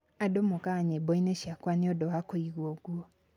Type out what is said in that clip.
Andũ mokaga nyĩmbo-inĩ ciakwa nĩ ũndũ wa kuigwa ũgwo.